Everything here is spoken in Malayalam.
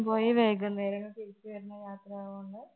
ഉച്ചയ്ക്ക് ശേഷം പോയി വൈകുന്നേരം തിരിച്ചുവരുന്നത് ആണ്